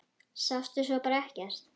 Sástu svo bara ekkert?